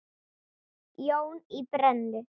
Jón í Brennu.